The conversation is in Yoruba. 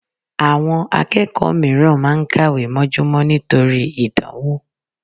Àwọn akẹ́kọ̀ọ́ mìíràn máa ń kàwé mọ́júmọ́ nítorí ìdánwò